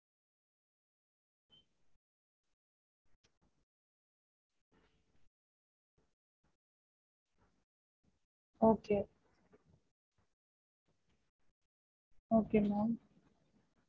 as usual breakfast க்கு என்ன பண்ணுவமோ அதுதா two to three varieties இருந்தா போதும் அஹ் normal லா இட்லி, பொங்கல், பூரி, அந்த மாதிரி breakfast க்கு என்ன schedule இருக்குமோ அது lunch க்கு வந்து